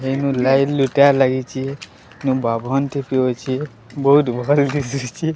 ଯେନୁ ଲାଇଟ୍ ଲୁଟା ବହୁତ ଭଲ ଦିଶୁଛି।